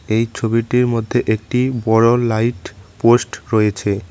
এই ছবিটির মধ্যে একটি বড়ো লাইট পোষ্ট রয়েছে।